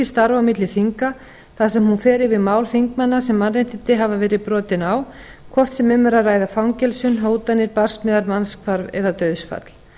starf á milli þinga þar sem hún fer yfir mál þingmanna sem mannréttindi hafa verið brotin á hvort sem um er að ræða fangelsi hótanir barsmíðar mannshvarf eða dauðsfall